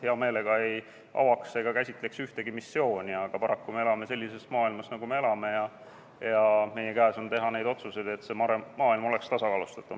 Hea meelega ei avaks ega käsitleks ühtegi missiooni, aga paraku me elame sellises maailmas, nagu me elame, ja me peame tegema neid otsuseid, et see maailm oleks tasakaalustatum.